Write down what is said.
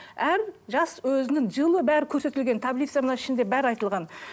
әр жас өзінің жылы бәрі көрсетілген таблица мына ішінде бәрі айтылған